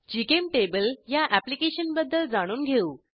GChemTable ह्या अॅप्लिकेशनबद्दल जाणून घेऊ